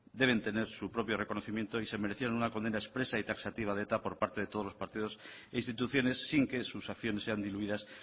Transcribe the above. deben tener su propio reconocimiento y se merecían una condena expresa y taxativa de eta por parte de todos los partidos e instituciones sin que sus acciones sean diluidas